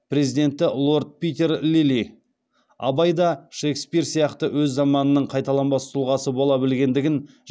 президенті лорд питер лилли абай да шекспир сияқты өз заманының қайталанбас тұлғасы бола білгендігін